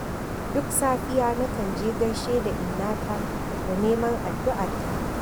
Duk safiya na kan je gaishe da Innata da neman addu'arta.